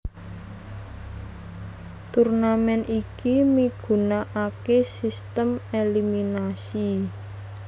Turnamen iki migunakaké sistem eliminasi